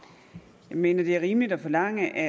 mener ministeren at det er rimeligt at forlange at